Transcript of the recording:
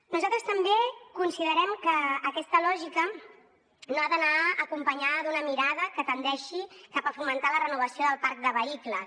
nosaltres també considerem que aquesta lògica no ha d’anar acompanyada d’una mirada que tendeixi cap a fomentar la renovació del parc de vehicles